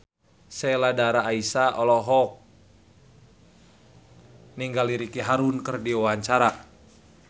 Sheila Dara Aisha olohok ningali Ricky Martin keur diwawancara